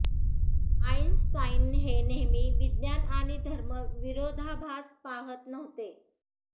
Einstein हे नेहमी विज्ञान आणि धर्म विरोधाभास पहात नव्हते